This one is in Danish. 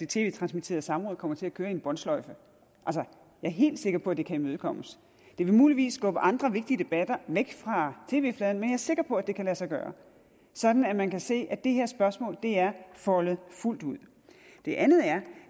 tv transmitterede samråd kommer til at køre i en båndsløjfe jeg er helt sikker på at det kan imødekommes det vil muligvis skubbe andre vigtige debatter væk fra tv fladen men jeg er sikker på at det kan lade sig gøre sådan at man kan se at det her spørgsmål er foldet fuldt ud det andet er